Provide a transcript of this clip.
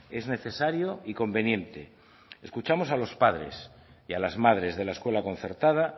es necesario y conveniente escuchamos a los padres y a las madres de la escuela concertada